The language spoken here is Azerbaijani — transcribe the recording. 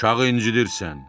Uşağı incidirsən.